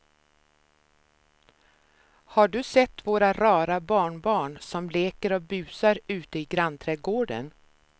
Har du sett våra rara barnbarn som leker och busar ute i grannträdgården!